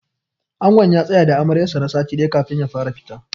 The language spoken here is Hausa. Angon ya tsaya da Amaryar sa na sati ɗaya kafin ya fara fita.